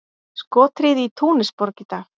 Skothríð í Túnisborg í dag